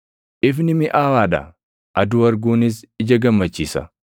Ifni miʼaawaa dha; aduu arguunis ija gammachiisa.